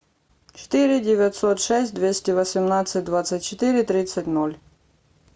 четыре девятьсот шесть двести восемнадцать двадцать четыре тридцать ноль